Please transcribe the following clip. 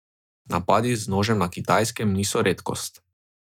Napadi z nožem na Kitajskem niso redkost.